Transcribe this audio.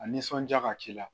A nisɔnja ka k'i la